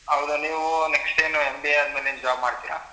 ಹೌದು ನೀವು next ಏನು MBA ಆದ್ಮೇಲೆ job ಮಾಡ್ತಿರಾ?